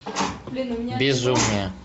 безумие